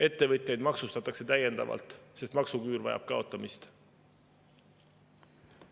Ettevõtjaid maksustatakse täiendavalt, sest maksuküür vajab kaotamist.